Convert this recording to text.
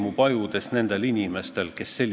Täna 20 euro eest ilmselgelt nii mõndagi enam ei saa.